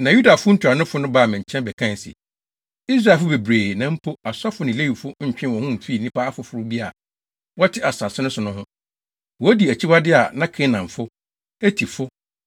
Na Yudafo ntuanofo no baa me nkyɛn bɛkae se, “Israelfo bebree, na mpo, asɔfo ne Lewifo ntwee wɔn ho mfii nnipa afoforo bi a wɔte asase no so no ho. Wodi akyiwade a na Kanaanfo, Hetifo,